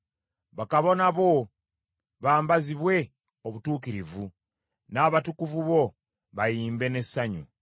Bakabona bo bambazibwe obutuukirivu, n’abatukuvu bo bayimbe n’essanyu.